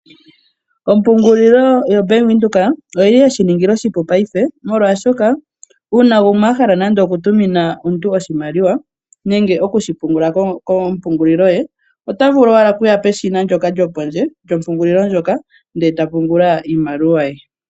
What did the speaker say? Ompungulilo yoBank Windhoek oyi li ye shiningila oshipu mongaashingeyi molwashoka uuna gumwe a hala nande okutumina omuntu oshimaliwa nenge okushipungula kompungulilo ye ota vulu owala okuya peshina ndyoka lyopondje lyompungulilo ndjoka e ta pungula iimaliwa ye.